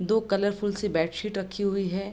दो कलरफुल सी bed sheet रखी हुई है।